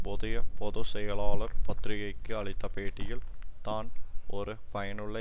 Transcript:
புதிய பொது செயலாளர் பத்திரிகைக்கு அளித்த பேட்டியில் தான் ஒரு பயனுள்ள